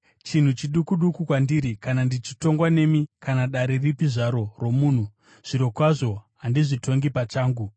Chinhu chiduku duku kwandiri kana ndichitongwa nemi kana dare ripi zvaro romunhu; zvirokwazvo handizvitongi pachangu.